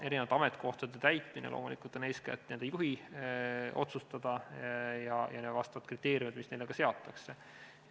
Erinevate ametikohtade täitmine on loomulikult eeskätt nende juhi otsustada ja need kriteeriumid siis ka seatakse.